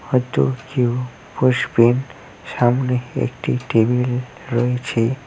হয়তো কেউ বসবেন সামনে একটি টেবিল রয়েছে।